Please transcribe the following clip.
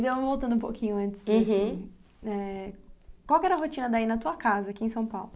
Então, voltando um pouquinho antes... Uhum. Eh, qual que era a rotina daí na tua casa aqui em São Paulo?